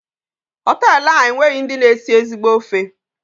Hotelu a enweghị ndị na esi ezigbo ofe.